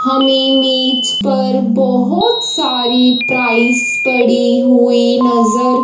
हमें मेज पर बहुत सारी प्राइस पड़ी हुई नजर--